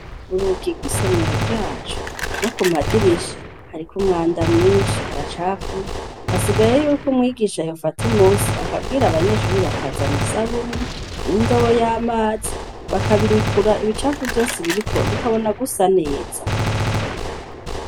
Urugi rwisomero ryacu no kumadirisha hariko umwanda mwinshi haracafuye hasigaye yuko umwigisha yofata umunsi akabwira abanyeshure bakaza isabuni n'indobo yamazi bakabinyukura ibicafu vyose biriko rikabona gusa neza.